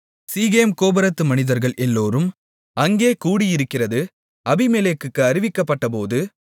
சீகேம் கோபுரத்து மனிதர்கள் எல்லோரும் அங்கே கூடியிருக்கிறது அபிமெலேக்குக்கு அறிவிக்கப்பட்டபோது